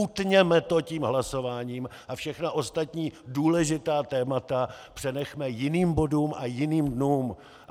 Utněme to tím hlasováním a všechna ostatní důležitá témata přenechme jiným bodům a jiným dnům.